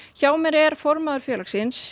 hjá mér er formaður félagsins